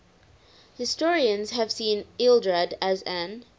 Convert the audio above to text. historians have seen ealdred as an